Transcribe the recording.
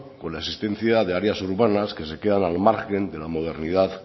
con la asistencia de áreas urbanas que se quedan al margen de la modernidad